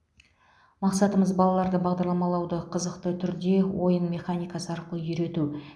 мақсатымыз балаларды бағдарламалауды қызықты түрде ойын механикасы арқылы үйрету